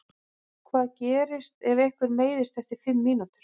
Hvað gerist ef einhver meiðist eftir fimm mínútur?